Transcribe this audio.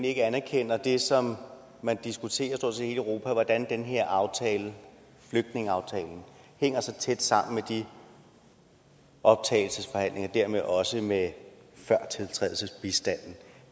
ikke anerkender det som man diskuterer i stort set hele europa nemlig hvordan den her aftale flygtningeaftalen hænger så tæt sammen med de optagelsesforhandlinger og dermed også med førtiltrædelsesbistanden